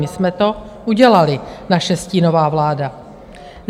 My jsme to udělali, naše stínová vláda.